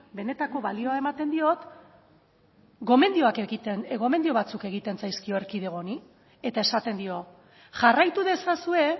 benetako balioa ematen diot gomendio batzuk egiten zaizkio erkidego honi eta esaten dio jarraitu ezazue